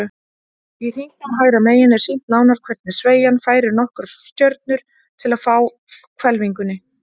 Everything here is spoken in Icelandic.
Í hringnum hægra megin er sýnt nánar hvernig sveigjan færir nokkrar stjörnur til á hvelfingunni.